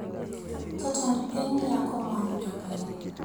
Jatend piny yako mwandu jopiny